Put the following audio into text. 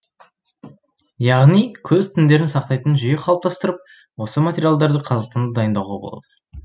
яғни көз тіндерін сақтайтын жүйе қалыптастырып осы материалдарды қазақстанда дайындауға болады